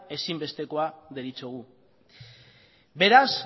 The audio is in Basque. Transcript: ezinbesteko deritzogu beraz